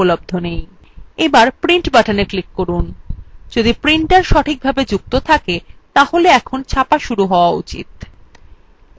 এবার print button click করুন যদি printer সঠিকভাবে যুক্ত থাকে তাহলে এখন ছাপা শুরু হয়ে যাওয়া উচিত